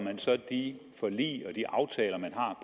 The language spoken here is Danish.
de forlig og de aftaler man har